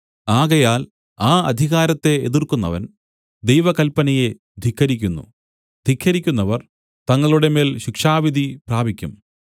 ആകയാൽ ആ അധികാരത്തെ എതിർക്കുന്നവൻ ദൈവകൽപ്പനയെ ധിക്കരിക്കുന്നു ധിക്കരിക്കുന്നവർ തങ്ങളുടെമേൽ ശിക്ഷാവിധി പ്രാപിക്കും